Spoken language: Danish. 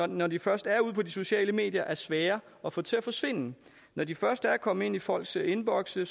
når de først er ude på de sociale medier er de svære at få til at forsvinde når de først er kommet ind i folks indbokse